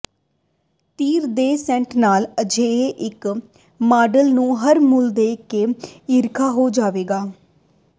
ਤੀਰ ਦੇ ਸੈੱਟ ਨਾਲ ਅਜਿਹੇ ਇੱਕ ਮਾਡਲ ਨੂੰ ਹਰ ਮੂਲ ਦੇ ਕੇ ਈਰਖਾ ਹੋ ਜਾਵੇਗਾ